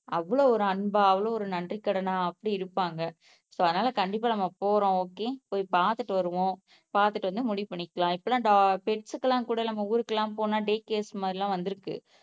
அவ்வளவு ஒரு அன்பா அவ்வளவு ஒரு நன்றிக்கடனா அப்படி இருப்பாங்க சோ, அதனால கண்டிப்பா நம்ம போறோம ஓகே போய் பாத்துட்டு வருவோம் பாத்துட்டு வந்து முடிவு பண்ணிக்கலாம் இப்ப எல்லாம் டாக் பெட்டுக்கெல்லாம் கூட நம்ம ஊருக்கெல்லாம் போனா டேகேர்ஸ் மாறி எல்லாம் வந்துருக்கு